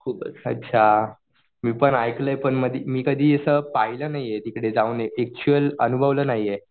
अच्छा मी पण ऐकलंय पण मी कशी असं पाहिलं नाहीये ऍक्च्युअल अनुभवलं नाहीये.